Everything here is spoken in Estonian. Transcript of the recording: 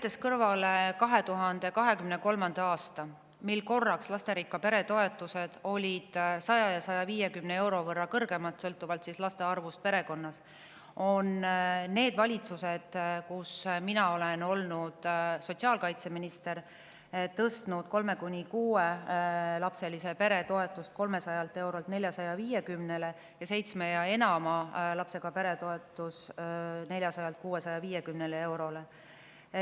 Jätan kõrvale 2023. aasta, mil korraks olid lasterikka pere toetused 100 ja 150 euro võrra kõrgemad sõltuvalt laste arvust perekonnas, aga need valitsused, kus mina olen olnud sotsiaalkaitseminister, on tõstnud kolme- kuni kuuelapselise pere toetuse 300 eurolt 450-le ning seitsme ja enama lapsega pere toetuse 400-lt 650 eurole.